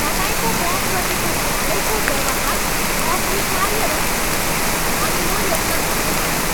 तपाईँको मप्रतिको हालैको व्यवहार अस्वीकार्य रहेको छ अनि म यसमा खुसी छैन।